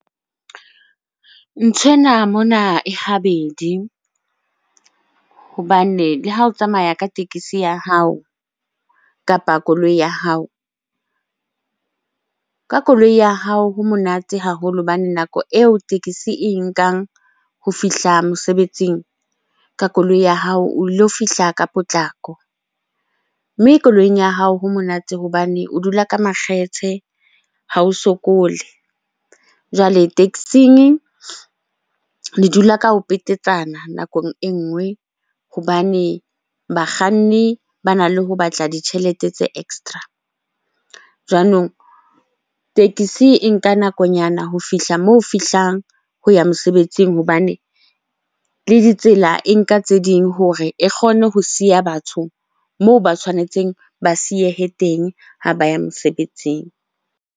Nthwena mona e habedi hobane le ha o tsamaya ka tekesi ya hao kapa koloi ya hao. Ka koloi ya hao ho monate haholo hobane nako eo tekesi e nkang ho fihla mosebetsing, ka koloi ya hao o lo fihla ka potlako. Mme koloing ya hao ho monate hobane o dula ka makgethe ha o sokole. Jwale taxing le dula ka ho petetsana nakong e nngwe hobane bakganni bana le ho batla ditjhelete tse extra. Jwanong tekesi e nka nakonyana ho fihla moo fihlang ho ya mosebetsing hobane le ditsela e nka tse ding hore e kgone ho siya batho moo ba tshwanetseng ba siyehe teng ha ba ya mosebetsing.